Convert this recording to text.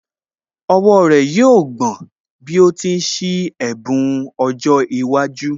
Ọwọ́ rẹ̀ yóò gbọ̀n bí ó ti ń ṣí ẹ̀bùn ọjọ́ iwájú